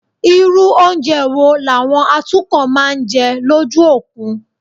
Irú oúnjẹ wo làwọn atukọ̀ máa ń jẹ lójú òkun?